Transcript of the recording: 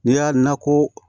N'i y'a nako